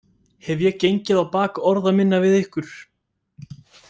Hef ég gengið á bak orða minna við ykkur?